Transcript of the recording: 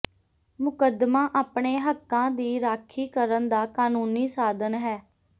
ਮੁਕੱਦਮਾ ਆਪਣੇ ਹੱਕਾਂ ਦੀ ਰਾਖੀ ਕਰਨ ਦਾ ਕਾਨੂੰਨੀ ਸਾਧਨ ਹੈ